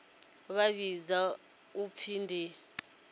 vha vhidzwa u pfi ndi